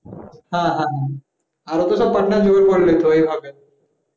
হ্যাঁ হ্যাঁ আরো তো সব পাটনার জুগার করে নিতো এইভাবে